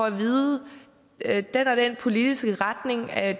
at vide at den og den politiske retning bare er